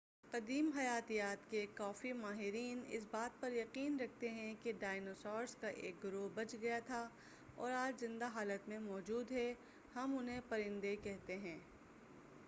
قدیم حیاتیات کے کافی ماہرین اس بات پر یقین رکھتے ہیں کہ ڈائنوسارز کا ایک گروہ بچ گیا تھا اور آج زندہ حالت میں موجود ہے ہم انہیں پرندے کہتے ہیں